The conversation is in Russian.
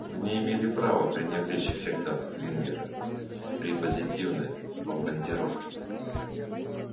вы не имели права пренебречь эффектом лингера при позитивной бомбардировке